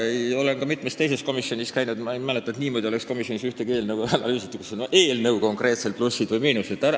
Ma olen ka mitmes teises komisjonis käinud ja ma ei mäleta, et mõnes komisjonis oleks eelnõu niimoodi analüüsitud, et arutatakse läbi esitatud eelnõu konkreetsed plussid või miinused.